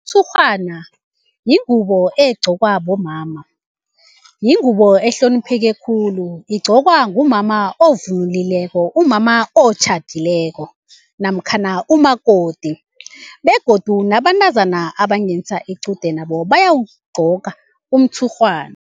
Umtshurhwana yingubo egqokwa bomama, yingubo ehlonipheke khulu. Igqokwa ngumama ovunululileko umama otjhadileko, namkhana umakoti begodu nabantazana abangenisa iqude nabo bayawugcoka umtshurhwana.